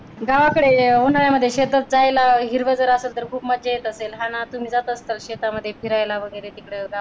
गावाकडील उन्हाळ्यामध्ये शेतात जायला हिरव जर असेल तर खूप मज्जा येत असेल ना तुम्ही जात असाल शेतामध्ये फिरायला वगैरे तिकड गावाकड